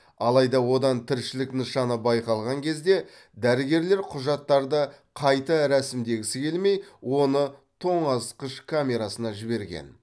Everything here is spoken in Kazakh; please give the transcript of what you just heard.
алайда одан тіршілік нышаны байқалған кезде дәрігерлер құжаттарды қайта рәсімдегісі келмей оны тоңазытқыш камерасына жіберген